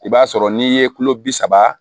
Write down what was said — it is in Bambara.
I b'a sɔrɔ n'i ye kulo bi saba